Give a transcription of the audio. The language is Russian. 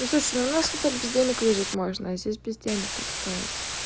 ну слушай у нас хотя бы без денег выжить можно а здесь без денег как-то